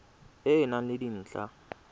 e e nang le dintlha